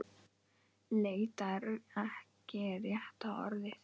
Leita er ekki rétta orðið.